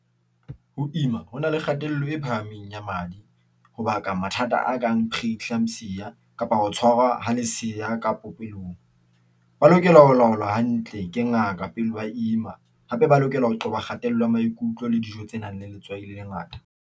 Ho ima ho na le kgatello e phahameng ya madi ho baka mathata a kang preeclampsia, kapa ho tshwarwa ho leseya ka popelong, ba lokela ho laolwa hantle ke ngaka pele ba ima. Hape ba lokela ho qoba kgatello ya maikutlo le dijo tse nang le letswai le lengata.